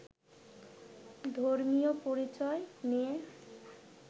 ধর্মীয় পরিচয় নিয়ে